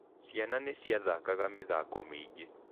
Ciana nĩ ciathakaga mĩthako mĩingĩ.